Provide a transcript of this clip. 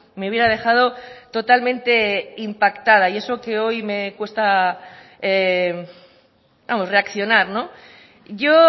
me hubiera dejado totalmente impactada y eso que hoy me cuesta vamos reaccionar yo